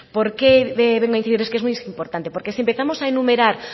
por qué debo incidir es que es muy importante porque si empezamos a enumerar